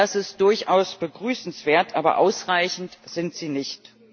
Das ist durchaus begrüßenswert, aber ausreichend ist das nicht!